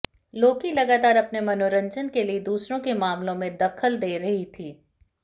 लोकी लगातार अपने मनोरंजन के लिए दूसरों के मामलों में दखल दे रही थीं